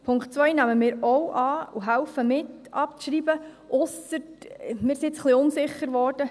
Punkt 2 nehmen wir auch an und helfen mit abzuschreiben, ausser – wir sind jetzt ein wenig unsicher geworden: